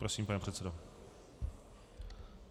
Prosím, pane předsedo.